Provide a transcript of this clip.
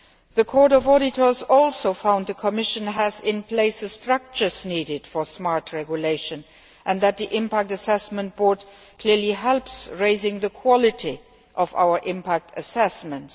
The Court of Auditors also found that the Commission has in place the structures needed for smart regulation and that the Impact Assessment Board clearly helps to raise the quality of our impact assessments.